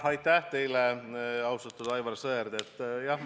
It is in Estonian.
Aitäh teile, austatud Aivar Sõerd!